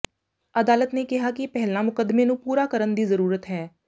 ਅਦਾਲਤ ਨੇ ਕਿਹਾ ਕਿ ਪਹਿਲਾਂ ਮੁਕਦਮੇ ਨੂੰ ਪੂਰਾ ਕਰਨ ਦੀ ਜ਼ਰੂਰਤ ਹੈ